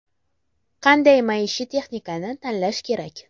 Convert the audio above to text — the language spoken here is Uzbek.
Qanday maishiy texnikani tanlash kerak?